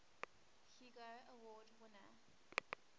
hugo award winner